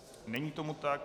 Není tomu tak.